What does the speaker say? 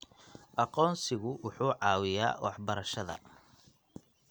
Aqoonsigu wuxuu caawiyaa waxbarashada.